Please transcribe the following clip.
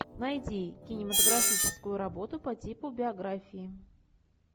найди кинематографическую работу по типу биографии